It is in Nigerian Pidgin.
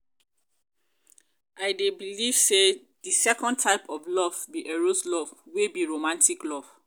i dey believe say di second type of love be eros love wey be romantic love.